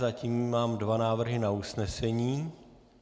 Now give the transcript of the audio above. Zatím mám dva návrhy na usnesení.